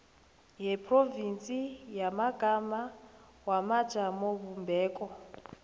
yeprovinsi yamagama wamajamobumbeko